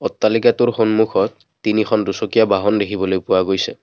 অট্টালিকাটোৰ সন্মুখত তিনিখন দুচকীয়া বাহন দেখিবলৈ পোৱা গৈছে।